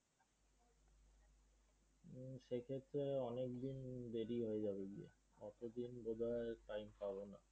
সে ক্ষেত্রে অনেকদিন দেরি হয়ে যাবে অতদিন বোধ হয় time পাবোনা।